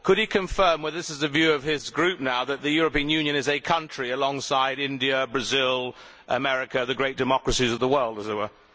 Could he confirm whether this is the view of his group now that the European Union is a country alongside India, Brazil, America, the great democracies of the world, as it were?